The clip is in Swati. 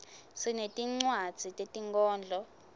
sinetincwadzi tetinkhondlo